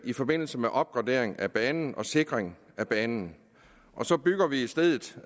i forbindelse med opgraderingen af banen og sikringen af banen så bygger vi i stedet